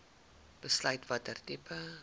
besluit watter tipe